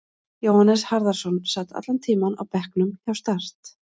Jóhannes Harðarson sat allan tímann á bekknum hjá Start.